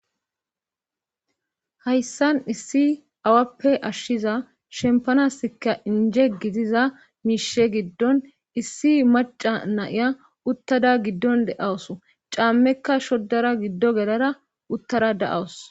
hayssan issi awappe ashshiza shempanasikka inje gitiza miishe giddon issi maca naiya uttada giddon de7awso caammekka shoddara giddo gelara uttara da7awus